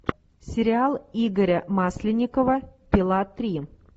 сериал игоря масленникова пила три